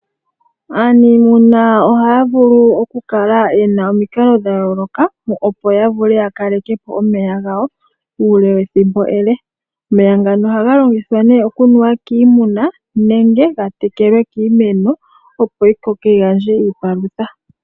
Aanimuna ohaya vulu okukala ye na omikalo dha yooloka opo ya vule ya kaleke po omeya gawo uule wethimbo ele. Omeya ngano ohaga longithwa okunuwa kiimuna nenge ga tekelwe kiimeno opo yi koke yi gandje iipalutha.